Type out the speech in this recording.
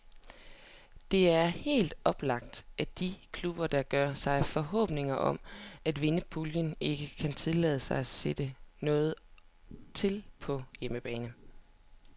Det er helt oplagt, at de klubber, der gør sig forhåbninger om at vinde puljen, ikke kan tillade sig at sætte noget til på hjemmebane.